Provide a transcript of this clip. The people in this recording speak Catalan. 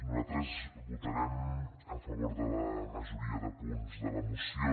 nosaltres votarem a favor de la majoria de punts de la moció